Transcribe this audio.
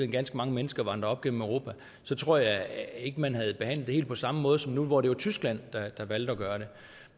ganske mange mennesker vandre op gennem europa så tror jeg ikke man havde behandlet det helt på samme måde som nu hvor det tyskland der har valgt at gøre det